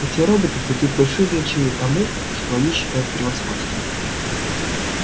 эти роботы придают большое значение тому что они считают превосходством